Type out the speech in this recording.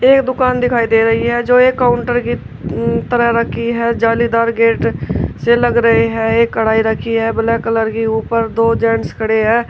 ये दुकान दिखाई दे रही है जो एक काउंटर की उ तरह रखी है जालीदार गेट से लग रहे हैं एक कढाई रखी है ब्लैक कलर की ऊपर दो जेंट्स खड़े हैं।